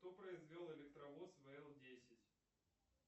кто произвел электровоз вл десять